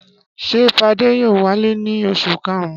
Ṣé Fadé yóò wálé ní oṣù karùn-ún?